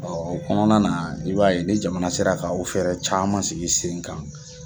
o kɔnɔna na i b'a ye ni jamana sera ka o fɛɛrɛ caman sigi sen kan.